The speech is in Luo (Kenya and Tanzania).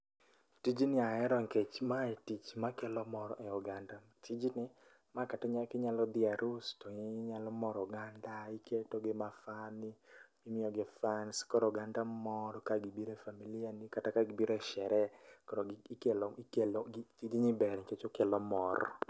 Tijni ahero nikech mae tich makelo mor ne oganda. Tijni ma kata inyalo dhi e arus inyalo moro oganda, iketo gima funny, imiyo gi funs koro oganda mor kagibiro e familia ni kata ka gibiro e sherehe. koro ikelo ,gini ber nikech okelo mor